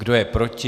Kdo je proti?